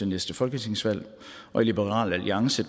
næste folketingsvalg og i liberal alliance